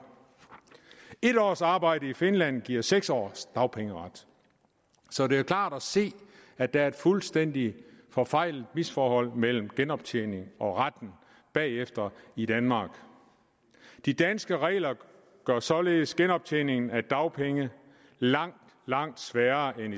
en års arbejde i finland giver seks års dagpengeret så det er klart at se at der er et fuldstændig forfejlet misforhold mellem genoptjening og retten bagefter i danmark de danske regler gør således genoptjeningen af dagpenge langt langt sværere end